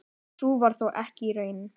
Sú varð þó ekki raunin.